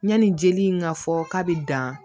Yanni jeli in ka fɔ k'a bɛ dan